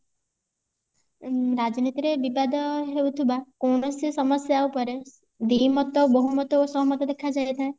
ଉଁ ରାଜନୀତିରେ ବିବାଦ ହଉଥିବା କୌଣସି ସମସ୍ଯା ଉପରେ ଦି ମତ ବହୁମତ ଓ ସହମତ ଦେଖା ଯାଇଥାଏ